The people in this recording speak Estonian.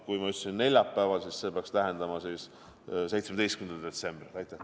Kui ma ütlesin, et neljapäeval, siis see peaks tähendama 17. detsembril.